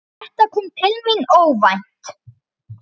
Þetta kom til mín óvænt.